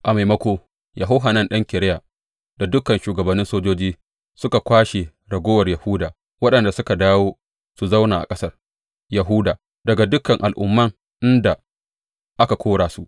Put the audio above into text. A maimako, Yohanan ɗan Kareya da dukan shugabannin sojoji suka kwashe raguwar Yahuda waɗanda suka dawo su zauna a ƙasar Yahuda daga dukan al’umman inda aka kora su.